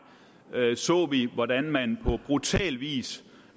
så vi hvordan man på brutal vis